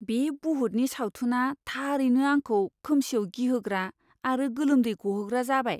बे बुहुतनि सावथुना थारैनो आंखौ खोमसियाव गिहोग्रा आरो गोलोमदै गहोग्रा जाबाय।